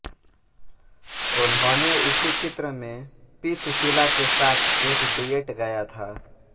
उन्होने इसी चित्र मे पी सुशीला के साथ एक डुएट गाया था